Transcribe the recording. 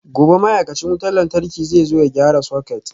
Gobe ​​ma'aikacin wutar lantarki zai zo ya gyara soket